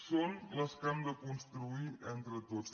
són les que hem de construir entre tots